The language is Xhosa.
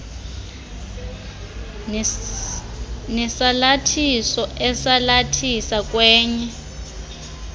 nesalathiso esalathisa kwenye